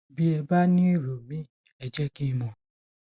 bí ẹ bá ní èrò míì ẹ jẹ kí n mọ